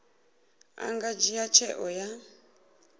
a nga dzhia tsheo ya